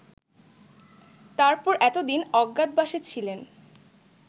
তারপর এত দিন অজ্ঞাতবাসে ছিলেন